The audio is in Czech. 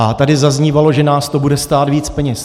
A tady zaznívalo, že nás to bude stát víc peněz.